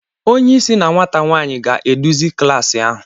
Onye isi na nwata nwanyị ga-eduzi klas ahụ.